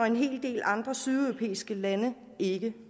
en hel del andre sydeuropæiske lande ikke